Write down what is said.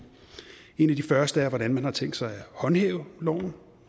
en af de første er hvordan man har tænkt sig at håndhæve loven og